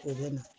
O bɛ na